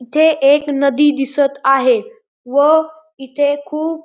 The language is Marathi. इथे एक नदी दिसत आहे व इथे खूप--